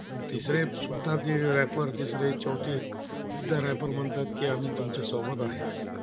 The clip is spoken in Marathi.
रयापर म्हणतात, की आम्ही तुमच्यासोबत आहे